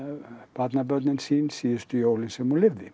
barnabörnin sín síðustu jólin sem hún lifði